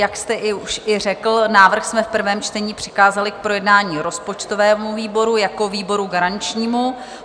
Jak jste už i řekl, návrh jsme v prvém čtení přikázali k projednání rozpočtovému výboru jako výboru garančnímu.